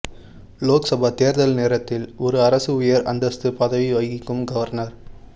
லோக்சபா தேர்தல் நேரத்தில் ஒரு அரசு உயர் அந்தஸ்து பதவி வகிக்கும் கவர்னர்